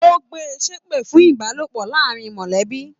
O gbé ṣepe fún ìbálòpọ̀ láàrín mọlẹbi.